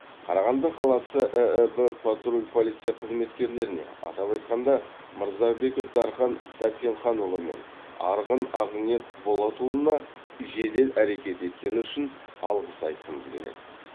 қарағанды қаласы ііб патруль полиция қызметкерлеріне атап айтқанда мырзабеков дархан сәрсенханұлы мен арғын ақниет болатұлына жедел әрекет еткені үшін алғыс айтқымыз келеді